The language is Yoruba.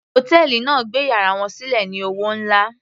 Hòtẹ́ẹ̀lì náà gbé yàrá wọn sílẹ̀ ní owó nlá.